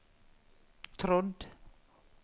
trodd